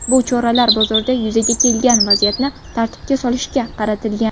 Bu choralar bozorda yuzaga kelgan vaziyatni tartibga solishga qaratilgan.